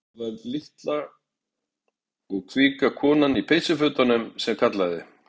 Það var litla og kvika konan í peysufötunum sem kallaði.